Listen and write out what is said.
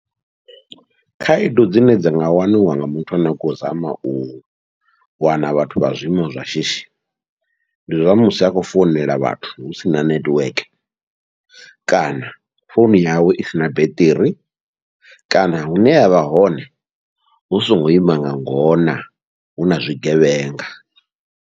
Khaedu dzine dza nga waniwa nga muthu ane a khou zama u wana vhathu vha zwiimo zwashishi, ndi zwa musi a khou founela vhathu husina nethiweke kana founu yawe i sina beṱiri, kana hune avha hone hu songo ima nga ngona huna zwigevhenga.